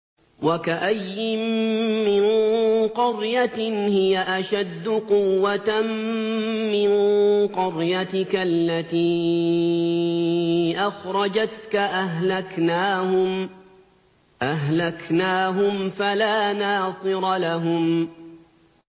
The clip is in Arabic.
وَكَأَيِّن مِّن قَرْيَةٍ هِيَ أَشَدُّ قُوَّةً مِّن قَرْيَتِكَ الَّتِي أَخْرَجَتْكَ أَهْلَكْنَاهُمْ فَلَا نَاصِرَ لَهُمْ